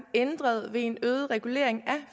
ændret ved en øget regulering af